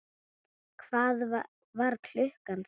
Hvað var klukkan þá?